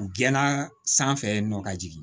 U gɛnna sanfɛ yen nɔ ka jigin